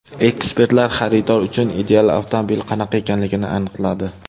Ekspertlar xaridor uchun ideal avtomobil qanaqa ekanligini aniqladi.